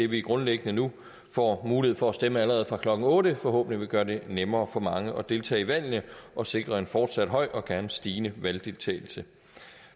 vi grundlæggende nu får mulighed for at stemme allerede fra klokken otte forhåbentlig vil gøre det nemmere for mange at deltage i valgene og sikre en fortsat høj og gerne stigende valgdeltagelse